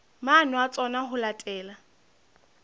maano a tsona ho latela